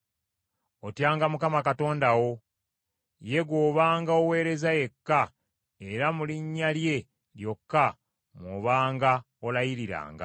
“Otyanga Mukama Katonda wo. Ye gw’obanga oweereza yekka, era mu linnya lye lyokka mw’obanga olayiriranga.